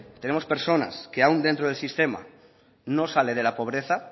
tenemos personas que aún dentro del sistema no sale de la pobreza